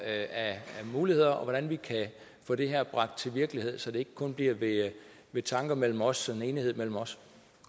af muligheder og hvordan vi kan få det her gjort til virkelighed så det ikke kun bliver ved tanker mellem os og enighed mellem os